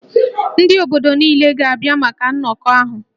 Ndị obodo niile ga-abịa maka nnọkọ ahụ